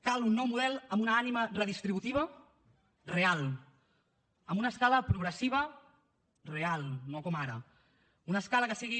cal un nou model amb una ànima redistributiva real amb una escala progressiva real no com ara una escala que sigui